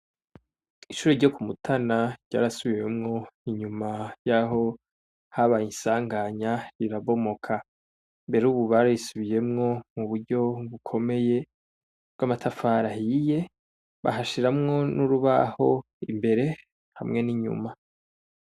Ishure ryokumutana ryarasubiwemwo inyuma yaho habaye isanganya rirabomoka rero ubu barisubiyemwo muburyo bukomeye bwamatafari ahiye bahashiramwo nurubaho imbere hamwe ninyuma